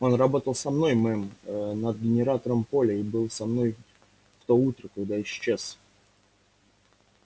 он работал со мной мэм над генератором поля и был со мной в то утро когда исчез